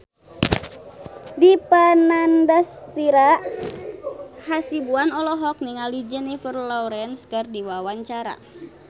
Dipa Nandastyra Hasibuan olohok ningali Jennifer Lawrence keur diwawancara